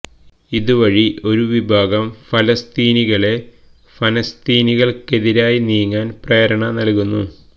ഇത് വഴി ഒരു വിഭാഗം ഫലസ്തീനികളെ ഫലസ്തീനികള്ക്കെതിരായി നീങ്ങാന് പ്രേരണ നല്കുന്നു